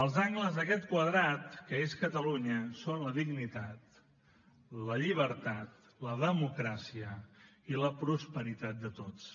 els angles d’aquest quadrat que és catalunya són la dignitat la llibertat la democràcia i la prosperitat de tots